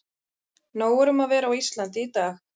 Nóg er um að vera á Íslandi í dag.